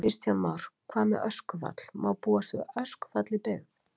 Kristján Már: Hvað með öskufall, má búast við öskufalli í byggð?